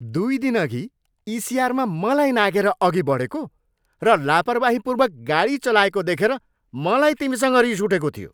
दुई दिनअघि इसिआरमा मलाई नाघेर अघि बढेको र लापरवाहीपूर्वक गाडी चलाएको देखेर मलाई तिमीसँग रिस उठेको थियो।